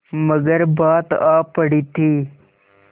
मगर बात आ पड़ी थी